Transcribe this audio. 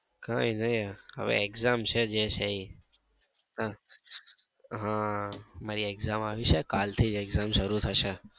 કઈ નઈ હવે exam છે જે છે એ હમ મારી exam આવી છે કલ થી જ exam શરુ થશે.